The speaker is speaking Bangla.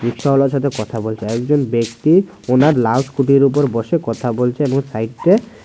রিক্সাওয়ালার সাথে কথা বলছে একজন ব্যাক্তি ওনার লাল স্কুটির উপর বসে কথা বলছে এবং সাইট্টে--